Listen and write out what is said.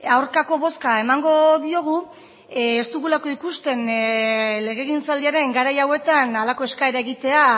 aurkako bozka emango diogu ez dugulako ikusten legegintzaldiaren garai hauetan halako eskaera egitea